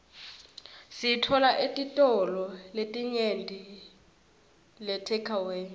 siyitfola etitolo letinyenti leteawkile